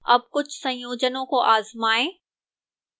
अब कुछ संयोजनों को आजमाएं